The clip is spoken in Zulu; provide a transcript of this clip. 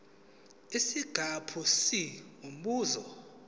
isiqephu c umbuzo